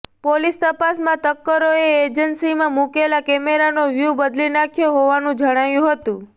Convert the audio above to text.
police તપાસમાં તસ્કરોેએ એજન્સીમાં મુકેલા કેમેરાનો વ્યુ બદલી નાંખ્યો હોવાનું જણાયું હતું